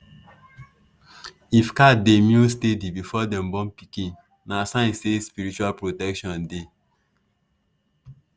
if cat dey meow steady before dem born pikin na sign say spiritual protection dey.